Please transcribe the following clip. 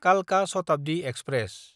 कालका शताब्दि एक्सप्रेस